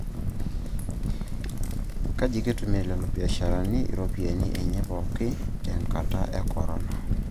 Keji kitumia lelo biasharani iropiyiani enye pooki te nkata e Corona